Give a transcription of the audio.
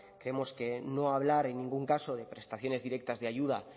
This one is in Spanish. creemos que no a hablar en ningún caso de prestaciones directas de ayuda